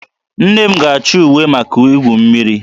Nne m ga-achọ uwe maka igwu mmiri